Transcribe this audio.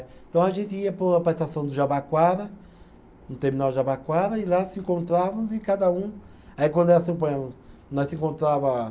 Então a gente ia para o, para a estação de Jabaquara, no terminal de Jabaquara, e lá se encontrávamos e cada um. Aí quando era, suponhamos, nós se encontrava